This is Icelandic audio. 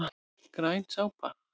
Græn súpa